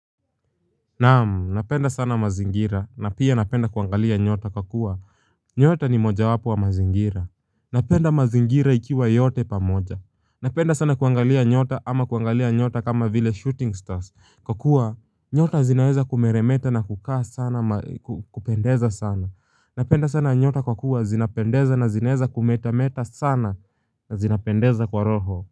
Na'am, napenda sana mazingira na pia napenda kuangalia nyota kwa kuwa nyota ni mojawapo wa mazingira Napenda mazingira ikiwa yote pamoja. Napenda sana kuangalia nyota ama kuangalia nyota kama vile shooting stars, kwa kuwa nyota zinaweza kumeremeta na kukaa sana, kupendeza sana. Napenda sana nyota kwa kuwa zinapendeza na zinaweza kumetameta sana na zinapendeza kwa roho.